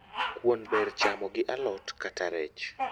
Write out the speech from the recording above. Kuon ber chamo gi alot kata rech